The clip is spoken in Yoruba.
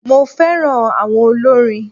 Mo féràn áwon olórin